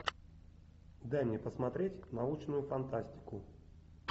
дай мне посмотреть научную фантастику